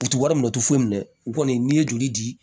U ti wari minɛ u ti foyi minɛ u kɔni n'i ye joli di